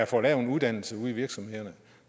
for lavt uddannelsesniveau ude i virksomhederne